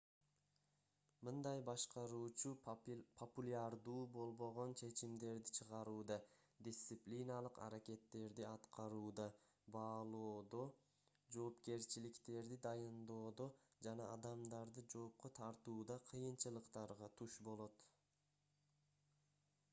мындай башкаруучу популярдуу болбогон чечимдерди чыгарууда дисциплиналык аракеттерди аткарууда баалоодо жоопкерчиликтерди дайындоодо жана адамдарды жоопко тартууда кыйынчылыктарга туш болот